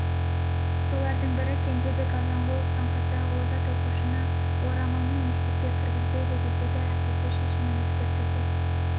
солардың бірі кенжебек азанғұловтың қызы озат оқушыны орамалмен мектепке кіргізбейді десе де әкесі шешімін өзгертуге